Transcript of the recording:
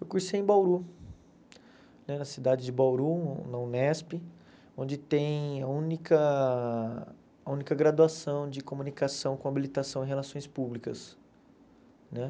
Eu cursei em Bauru, né na cidade de Bauru, na Unesp, onde tem a única a única graduação de comunicação com habilitação em relações públicas né.